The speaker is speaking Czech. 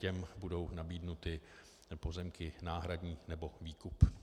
Těm budou nabídnuty pozemky náhradní nebo výkup.